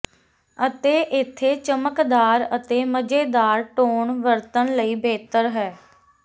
ਅਤੇ ਇੱਥੇ ਚਮਕਦਾਰ ਅਤੇ ਮਜ਼ੇਦਾਰ ਟੋਨ ਵਰਤਣ ਲਈ ਬਿਹਤਰ ਹੈ